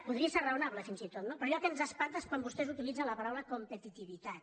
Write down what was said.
podria ser raonable fins i tot no però allò que ens espanta és quan vostès utilitzen la paraula competitivitat